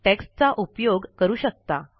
टेक्स्टचा उपयोग करू शकता